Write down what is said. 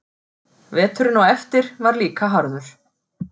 Veturinn á eftir var líka harður.